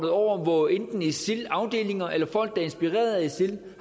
over hvor enten isil afdelinger eller folk der er inspireret af isil